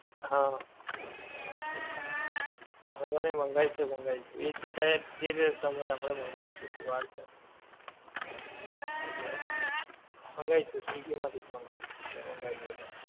હા, હું ખબર નહિ મંગાઈશ તો મંગાઈશ એ જ જે થાય જે તમે આપડે મંગાઈશું હજી વાર છે. એટલે? મંગાઈશું સ્વીગી માંથી જ મંગાઈશું, જે મંગાઈએ પણ.